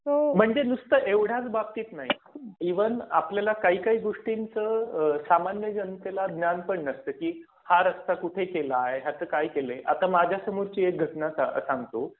म्हणजे नुसतं एवढंच बाबतीत नाही. ईव्हन आपल्याला काही काही गोष्टींचं सामान्य जनतेला ज्ञान पण नसतं. की हा रस्ता कुठे केला आहे. ह्याच काय केलंय. आता माझ्यासमोरची एक घटना सांगतो.